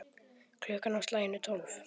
Klukkan á slaginu tólf.